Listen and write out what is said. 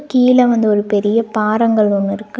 கீழ வந்து ஒரு பெரிய பாறங்கல் ஒன்னு இருக்கு.